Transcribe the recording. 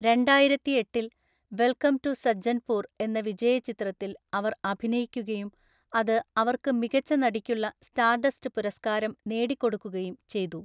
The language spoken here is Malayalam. രണ്ടായിരത്തിഎട്ടില്‍, വെൽക്കം ടു സജ്ജൻപൂർ എന്ന വിജയചിത്രത്തിൽ അവർ അഭിനയിക്കുകയും അത് അവര്‍ക്ക് മികച്ച നടിക്കുള്ള സ്റ്റാർഡസ്റ്റ് പുരസ്കാരം നേടിക്കൊടുക്കുകയും ചെയ്തു.